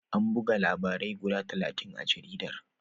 An buga labarai guda talatin a jaridar.